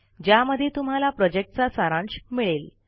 ज्यामध्ये तुम्हाला प्रॉजेक्टचा सारांश मिळेल